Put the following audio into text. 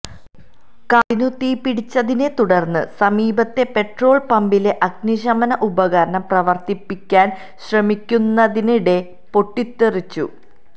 കാറിനു തീപിടിച്ചതിനെ തുടർന്ന് സമീപത്തെ പെേട്രാൾ പമ്പിലെ അഗ്നിശമന ഉപകരണം പ്രവർത്തിപ്പിക്കാൻ ശ്രമിക്കുന്നതിനിടെ പൊട്ടിത്തെറിച്ചു